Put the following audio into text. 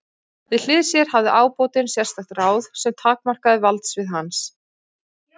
Við hlið sér hafði ábótinn sérstakt ráð sem takmarkaði valdsvið hans.